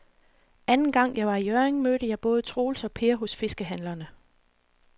Anden gang jeg var i Hjørring, mødte jeg både Troels og Per hos fiskehandlerne.